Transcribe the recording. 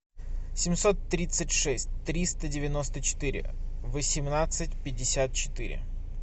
семьсот тридцать шесть триста девяносто четыре восемнадцать пятьдесят четыре